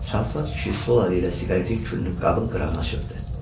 Çalsat kişi sol əli ilə siqaretin külünü qabın qırağına çırpdı.